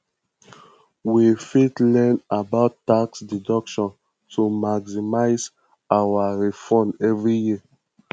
we fit learn about tax deductions to maximize our refunds every year